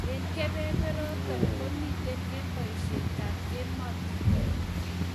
En kebeberoton, komiten en boisyetab emotinwek.